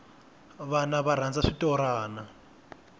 vana va rhandza switorana